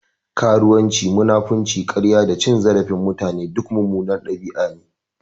Karuwanci, munafinci, karya da cin zarafin mutane duk munanan ɗabi'u ne.